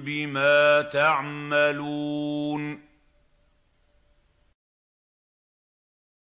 بِمَا تَعْمَلُونَ